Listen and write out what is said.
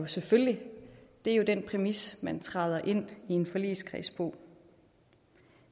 selvfølgelig det er jo den præmis man træder ind i en forligskreds på